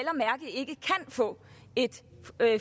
få et